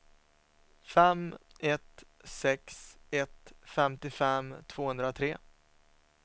fem ett sex ett femtiofem tvåhundratre